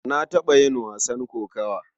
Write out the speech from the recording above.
Na taɓa yin wasan kokawa.